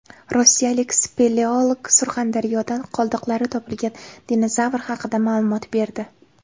Rossiyalik speleolog Surxondaryodan qoldiqlari topilgan dinozavr haqida ma’lumot berdi.